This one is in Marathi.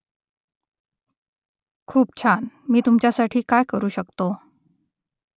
खूप छान मी तुमच्यासाठी काय करू शकतो ?